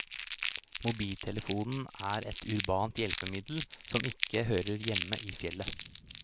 Mobiltelefonen er et urbant hjelpemiddel, som ikke hører hjemme i fjellet.